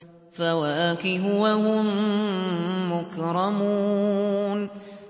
فَوَاكِهُ ۖ وَهُم مُّكْرَمُونَ